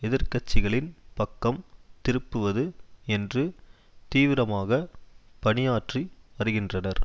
எதிர் கட்சிகளின் பக்கம் திருப்புவது என்று தீவிரமாக பணியாற்றி வருகின்றனர்